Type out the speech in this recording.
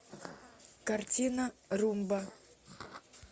картина румба